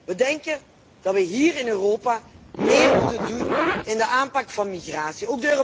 We denken dat we hier in Europa meer moeten doen aan de aanpak van migratie.